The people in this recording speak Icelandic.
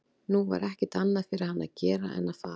Nú var ekkert annað fyrir hann að gera en að fara.